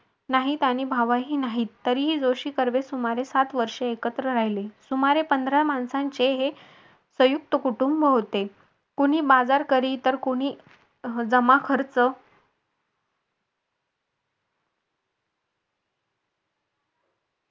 नाही त्याने भावही नाही तरी तरीही जोशी कर्वे सुमारे सात आठ वर्षे एकत्र राहिले सुमारे पंधरा माणसांचे हे संयुक्त कुटुंब होते कोणी बाजार करी तर कोणी जमाखर्च